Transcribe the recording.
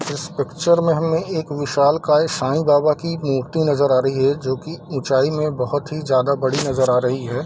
इस पिक्चर में हमे एक विशालकाय साईं बाबा की मूर्ति नजर आ रही है जो की उचाई में बहुत ही ज्यादा बड़ी नजर आ रही है।